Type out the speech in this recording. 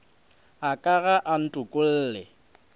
a ka ga a ntokolle